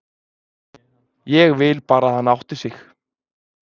Ég vil bara að hann átti sig.